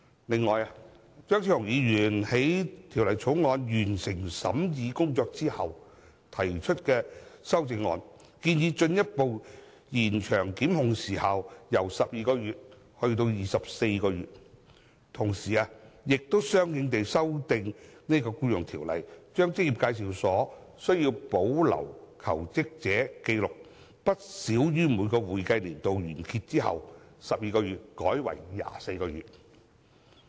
此外，張超雄議員在法案委員會完成審議工作後提出修正案，建議把檢控的法定時效限制由現時的12個月延長至24個月，同時相應修訂《僱傭條例》，把職業介紹所須在每一個會計年度完結後把求職者紀錄保留不少於12個月的期限改為24個月。